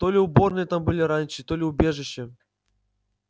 то ли уборные там были раньше то ли убежища